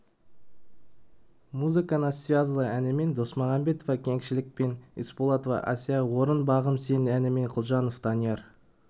музыка нас связала әнімен досмағамбетова кеңшілік пен испулатова асия орынға бағым сен әнімен кульжанов данияр